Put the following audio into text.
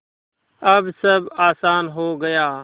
अब सब आसान हो गया